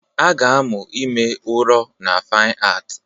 A ga-amụ ime ụrọ na Fine Art